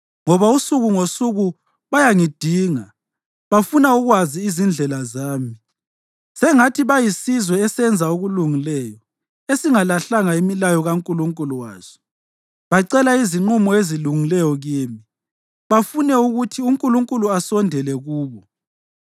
Ngoba usuku ngosuku bayangidinga; bafuna ukwazi izindlela zami, sengathi bayisizwe esenza okulungileyo esingalahlanga imilayo kaNkulunkulu waso. Bacela izinqumo ezilungileyo kimi bafune ukuthi uNkulunkulu asondele kubo.